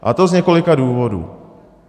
A to z několika důvodů.